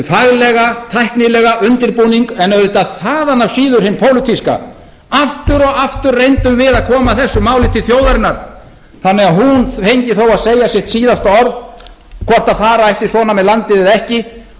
faglega tæknilega undirbúning en auðvitað þaðan af síður hinn pólitíska aftur og aftur reyndum við að koma þessu máli til þjóðarinnar þannig að hún fengi þó að segja sitt síðasta orð um hvort fara ætti svona með landið eða ekki og